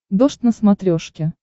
дождь на смотрешке